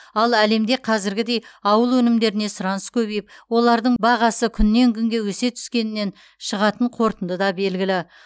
ал әлемде қазіргідей ауыл өнімдеріне сұраныс көбейіп олардың бағасы күнен күнге өсе түскенінен шығатын қорытынды да белгілі